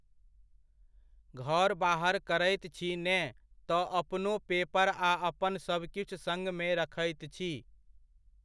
घर बाहर करैत छी ने तऽ अपनो पेपर आ अपन सबकिछु सङ्ग मे रखैत छी।